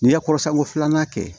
N'i ye kɔrɔsanko filanan kɛ